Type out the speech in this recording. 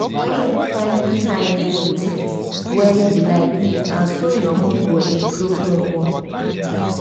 when you find time do tings wey you like na so your mood go improve well well.